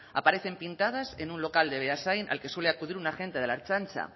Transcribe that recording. aparecen pintadas en un local de beasain al que suele acudir un agente de la ertzaintza